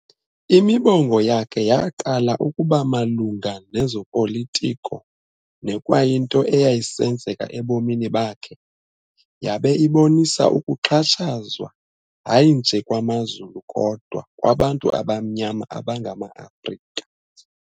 Imibongo yakhe yaqala ukuba malunga ngezopolitiko nekwakuyinto eyayisenzeka ebomini bakhe, yabe ibonisa ukuxhatshazwa hayi nje kwamaZulu kodwa kwabantu abamnyama abangama-Afrika.